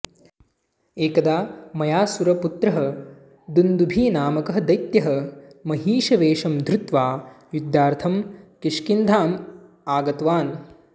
एकदा मयासुरपुत्रः दुन्दुभिनामकः दैत्यः महिषवेषं धृत्वा युद्धार्थं किष्किन्धामागतवान्